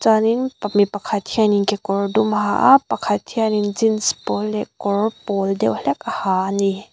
chuanin pa mipakhat hianin kekawr dum a ha a pakhat hianin jeans pâwl leh kawr pâwl deuh hlek a ha ani.